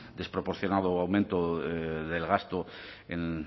del desproporcionado aumento del gasto en